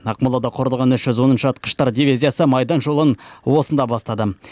ақмолада құрылған үш жүз оныншы атқыштар дивизиясы майдан жолын осында бастады